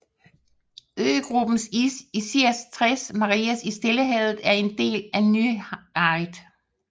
Øgruppen Islas Tres Marias i Stillehavet er en del af Nayarit